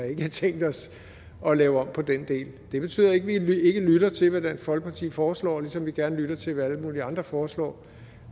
ikke har tænkt os at lave om på den del det betyder ikke at vi ikke lytter til hvad dansk folkeparti foreslår ligesom vi gerne lytter til hvad alle mulige andre foreslår